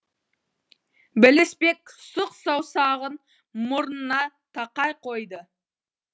білісбек сұқ саусағын мұрнына тақай қойды